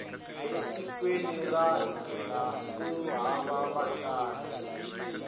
e tikweni ra hina ku hava vatlangi